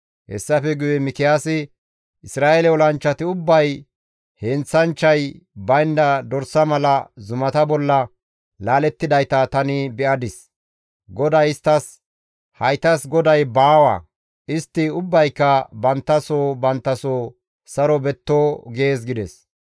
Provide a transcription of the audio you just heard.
Hessafe guye Mikiyaasi, «Isra7eele olanchchati ubbay heenththanchchay baynda dorsa mala zumata bolla laalettidayta tani be7adis; GODAY isttas, ‹Haytas goday baawa; istti ubbayka bantta soo bantta soo saro betto› gees» gides.